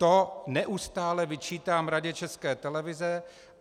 To neustále vyčítám Radě České televize.